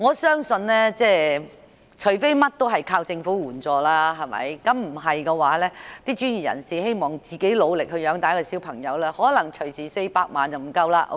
相信除非事事倚靠政府援助，否則一名專業人士想單靠自己努力養育一名孩子成人 ，400 萬元並不足夠。